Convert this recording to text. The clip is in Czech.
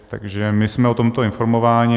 Takže my jsme o tomto informováni.